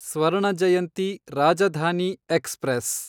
Swarna Jayanti Rajdhani express